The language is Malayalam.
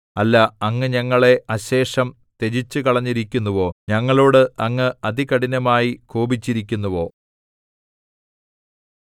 അല്ല അങ്ങ് ഞങ്ങളെ അശേഷം ത്യജിച്ചുകളഞ്ഞിരിക്കുന്നുവോ ഞങ്ങളോട് അങ്ങ് അതികഠിനമായി കോപിച്ചിരിക്കുന്നുവോ